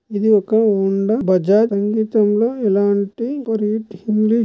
ఇది ఒక హోండా బజాజ్ సంగీతంలో ఇలాంటి రీడ్ --